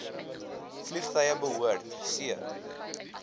vliegtuie behoort c